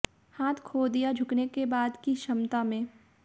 हाथ खो दिया झुकने के बाद की क्षमता में